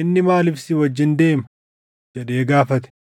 “Inni maaliif si wajjin deema?” jedhee gaafate.